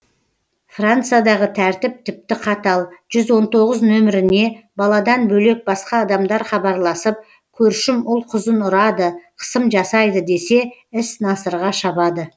франциядағы тәртіп тіпті қатал жүз он тоғыз нөміріне баладан бөлек басқа адамдар хабарласып көршім ұл қызын ұрады қысым жасайды десе іс насырға шабады